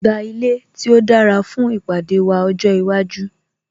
Gba ilé tí ó dára fún ìpàdé wa ọjọ́ iwájú